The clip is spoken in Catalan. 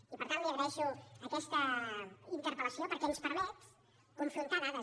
i per tant li agraeixo aquesta interpel·lació perquè ens permet confrontar dades